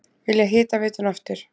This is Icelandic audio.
Vilja hitaveituna aftur